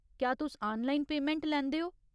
क्या तुस online payment लैंदे ओ?